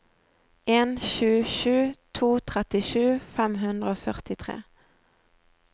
en sju sju to trettisju fem hundre og førtitre